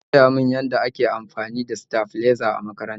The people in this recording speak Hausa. An koya min yadda ake amfani da saflizer a makaranta